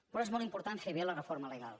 però és molt important fer bé la reforma legal